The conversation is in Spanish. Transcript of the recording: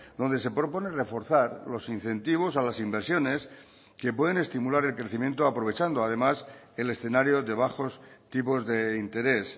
donde se propone reforzar los incentivos a las inversiones que pueden estimular el crecimiento aprovechando además el escenario de bajos tipos de interés